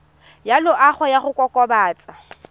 ya loago ya go kokobatsa